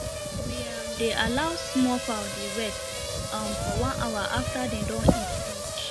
we um dey allow small fowl dey rest um for one hour after dem don eat finish